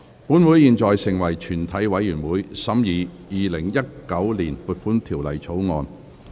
本會現在成為全體委員會，審議《2019年撥款條例草案》。